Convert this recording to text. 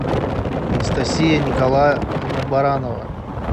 анастасия николаевна баранова